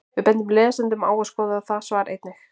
Við bendum lesendum á að skoða það svar einnig.